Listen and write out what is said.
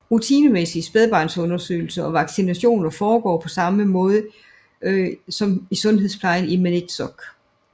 Rutinemæssige spædbarnsundersøgelser og vaccinationer foregår på samme måde som i sundhedsplejen i Maniitsoq